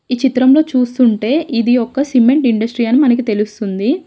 ఈ చిత్రంలో చూస్తుంటే ఇది ఒక సిమెంట్ ఇండస్ట్రీ అని మనకు తెలుస్తుంది.